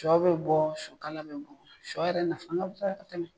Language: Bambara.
Cɔ bɛ bɔ sɔ kala bɛ bɔ sɔ yɛrɛ nafan ka bɔ yan ka tɛmɛ